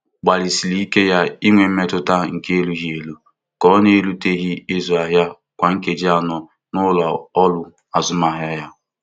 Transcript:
Mgbalịsiri ike ya inwe mmetụta nke erughị eru ka ọ na-eruteghị ịzụ ahịa kwa nkeji anọ n'ụlọ ọrụ azụmahịa ya.